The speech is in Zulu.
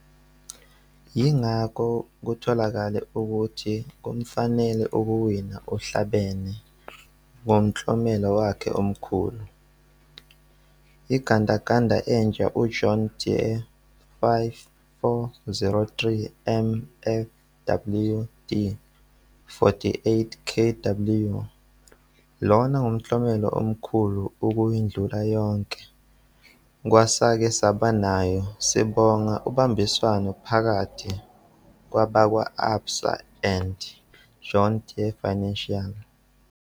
Yingakho kutholakale ukuthi kumfanele ukuwina uhlabene ngomklomelo wakhe omkhulu- Igandaganda entsha iJohn Deere 5403 MFWD 48 kW. Lona ngumklomelo omkhulu ukuyedlula yonke kwesake saba nayo sibonga ubambiswano phakathi kwabakwa-ABSA and John Deere Financial.